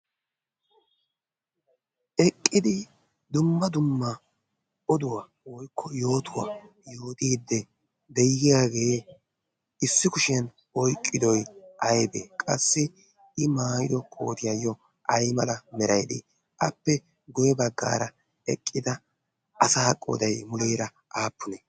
eqqidi dumma dumma oduwaa woykko yootuwaa yootiidde deyiyaagee issi kushiyan oiqqidoi aibee qassi i maayido kootiyaayyo ai mala meraidi appe goye baggaara eqqida asa qooday muleera aappune?